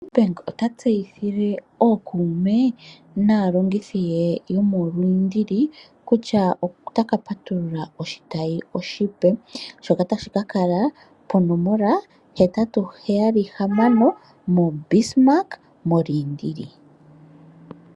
Nedbank bank ota tseyithile ookume ke naalongithi ye yomoLindili kutya otaka patulula oshitayi oshipe. Shono tashi ka kala ponomola heyali hetatu hamano moBismarck moLindili.